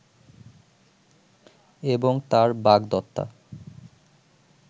এবং তার বাগদত্তা